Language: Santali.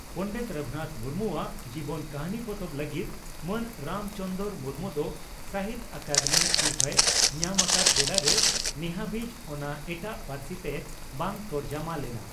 ᱯᱚᱸᱰᱮᱛ ᱨᱟᱹᱜᱷᱩᱱᱟᱛᱷ ᱢᱩᱨᱢᱩᱣᱟᱜ ᱡᱚᱵᱚᱱ ᱠᱟᱹᱦᱱᱤ ᱯᱚᱛᱚᱵ ᱞᱟᱹᱜᱤᱫ ᱢᱟᱱ ᱨᱟᱢ ᱪᱚᱱᱫᱽᱨᱚ ᱢᱩᱨᱢᱩ ᱫᱚ ᱥᱟᱦᱤᱛᱭᱚ ᱟᱠᱟᱫᱮᱢᱤ ᱥᱤᱨᱯᱷᱟᱹᱭ ᱧᱟᱢ ᱟᱠᱟᱫ ᱵᱮᱲᱟᱨᱮ ᱱᱮᱦᱟᱹᱵᱤᱡ ᱚᱱᱟ ᱮᱴᱟᱜ ᱯᱟᱹᱨᱥᱤᱛᱮ ᱵᱟᱝ ᱛᱚᱨᱡᱚᱢᱟ ᱞᱮᱱᱟ ᱾